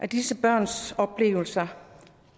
disse børns oplevelser